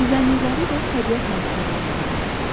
Düzənlikləri də təbiət hadisələri əmələ gətirir.